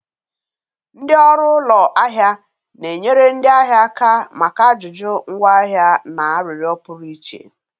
Ndị ọrụ ụlọ ahịa na-enyere ndị ahịa aka maka ajụjụ ngwaahịa na arịrịọ pụrụ iche.